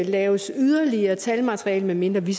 laves yderligere talmateriale medmindre vi